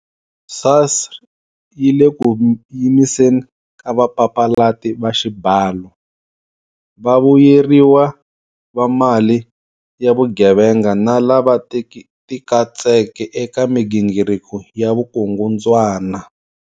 SARS yi le ku yimiseni ka vapapalati va xibalo, vavuyeriwa va mali ya vugevenga na lava tikatseke eka migingiriko ya vukungundzwana.